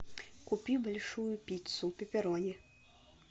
купи большую пиццу пепперони